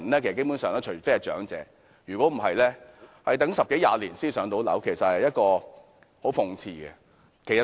基本上除長者外，其他人要等十多二十年才能"上樓"，這實在非常諷刺。